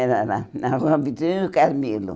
Era lá, na Rua Vitória e no Carmelo.